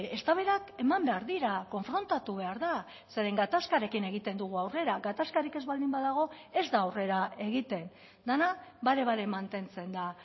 eztabaidak eman behar dira konfrontatu behar da zeren gatazkarekin egiten dugu aurrera gatazkarik ez baldin badago ez da aurrera egiten dena bare bare mantentzen da